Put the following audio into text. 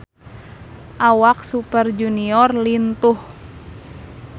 Awak Super Junior lintuh